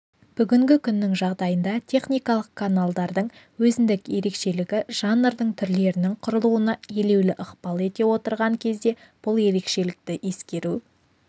бүгінгі күннің жағдайында техникалық каналдардың өзіндік ерекшелігі жанрдың түрлерінің құрылуына елеулі ықпал етіп отырған кезде бұл ерекшелікті ескеру